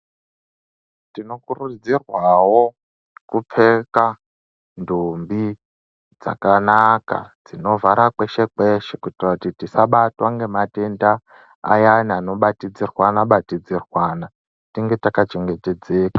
Tino kuridzirwawo kupfeka ndumbi dzakanaka dzinovhara kweshe kweshe Kutira kuti tisabatwe ngematenda ayani anobatidzirwanwa bati dzirwana tinge taka chengetedzeka.